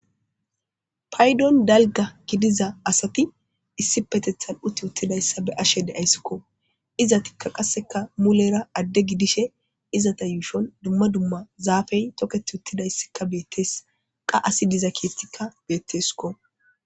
paydon dalga gidiza asati issi petethal7uti uttidayssa be ashe deayssikko iza tikka qasseka mulera adde gidishe izata yuushon dumma dumma zaafey toketi uttidayssika beettees qa asi diza kiettikka beetteskko